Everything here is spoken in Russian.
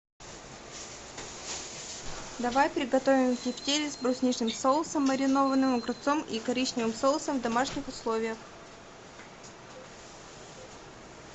давай приготовим тефтели с брусничным соусом маринованным огурцом и коричневым соусом в домашних условиях